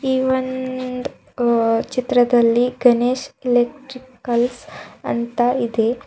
ಈ ಒಂದ್ ಆ ಚಿತ್ರದಲ್ಲಿ ಗಣೇಶ್ ಎಲೆಕ್ಟ್ರಿಕಲ್ಸ್ ಅಂತ ಇದೆ.